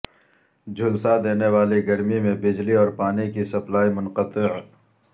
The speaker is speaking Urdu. جھلسادینے والی گرمی میں بجلی اور پانی کی سپلائی منقطع